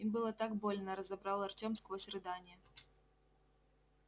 им было так больно разобрал артём сквозь рыдания